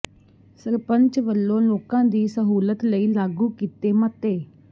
ਸਰਪੰਚ ਵੱਲੋਂ ਲੋਕਾਂ ਦੀ ਸਹੂਲਤ ਲਈ ਲਾਗੂ ਕੀਤੇ ਮਤੇ